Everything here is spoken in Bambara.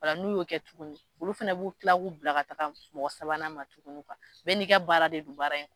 O la n'u y'o kɛ tuguni, olu fana b'u kila k'u bila ka taa mɔgɔ sabanan tugu bɛɛ ni ka baara de don baara in